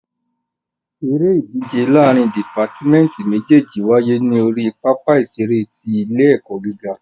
Eré ìdíje láàrín dìpátmẹ́tì méjèjì wáyé ní orí pápá ìṣeré ti ilé ẹ̀kọ́ gíga.